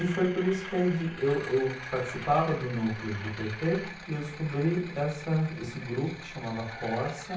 E foi por isso que aí de, eu eu participava do núcleo do pê tê e eu descobri essa esse grupo que chamava Corsa.